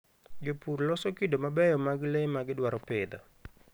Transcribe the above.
Jopur loso kido mabeyo mag le ma gidwaro pidho.